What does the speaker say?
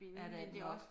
Ja det er det nok